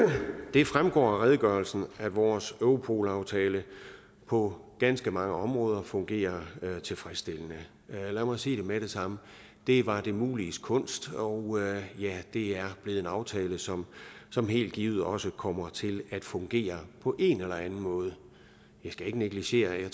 det fremgår af redegørelsen at vores europol aftale på ganske mange områder fungerer tilfredsstillende lad mig sige med det samme det var det muliges kunst og det er blevet en aftale som som helt givet også kommer til at fungere på en eller anden måde jeg skal ikke negligere at jeg